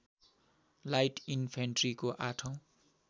light इनफेन्ट्रीको आठौँ